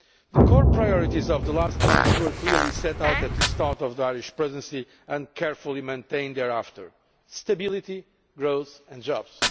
The core priorities over the last months were clearly set out at the start of the Irish Presidency and carefully maintained thereafter stability, growth and jobs.